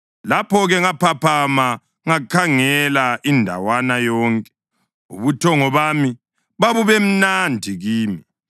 Lapho-ke ngaphaphama ngakhangela indawana yonke. Ubuthongo bami babubemnandi kimi.